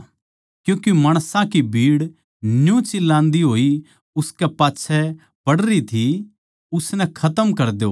क्यूँके माणसां की भीड़ न्यू चिल्लान्दी होई उसकै पाच्छै पड़री थी उसनै खतम कर द्यो